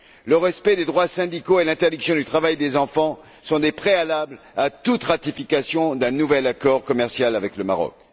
Le respect des droits syndicaux et l'interdiction du travail des enfants sont des préalables à toute ratification d'un nouvel accord commercial avec le Maroc.